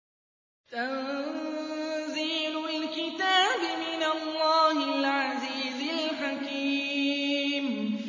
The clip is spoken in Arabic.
تَنزِيلُ الْكِتَابِ مِنَ اللَّهِ الْعَزِيزِ الْحَكِيمِ